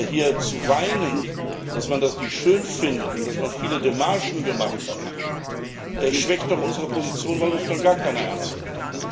Hier zu weinen, dass man das nicht schön findet und dass man viele Demarchen gemacht hat, schwächt doch unsere Position, weil uns dann gar keiner ernst nimmt.